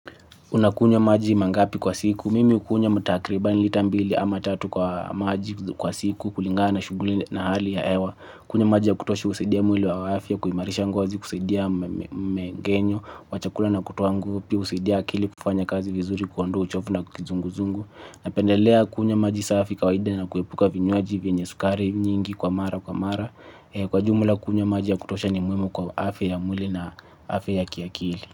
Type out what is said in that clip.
Unakunywa maji mangapi kwa siku. Mimi hukunywa mtakribani lita mbili ama tatu kwa maji kwa siku kulingana shughuli na hali ya hewa. Kunywa maji ya kutosha husaidia mwili wa afya kuimarisha ngozi kusaidia mgenyo, wa chakula na kutoa nguvu pia husaidia akili kufanya kazi vizuri kuondoa uchovu na kizunguzungu. Napendelea kunywa maji safi kawaida na kuepuka vinywaji vyenye sukari nyingi kwa mara kwa mara. Kwa jumla kunywa maji ya kutosha ni muhimu kwa afya mwili na afya ya kiakili.